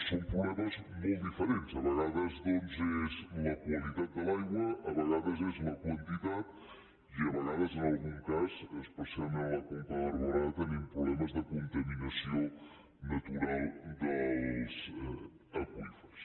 són problemes molt diferents a vegades doncs és la qualitat de l’aigua a vegades és la quantitat i a vegades en algun cas especialment a la conca de barberà tenim problemes de contaminació natural dels aqüífers